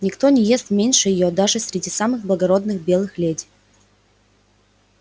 никто не ест меньше её даже среди самых благородных белых леди